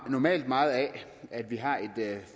normalt meget af at vi har